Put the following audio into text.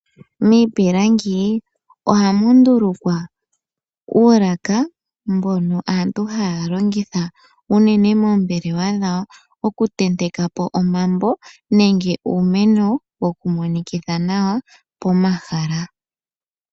Miipilangi ohamu ndulukwa uulaka mbono aantu haya longitha unene moombelewa dhawo. Okutentekapo omambo nenge uumeno woku monikitha nawa pomahala.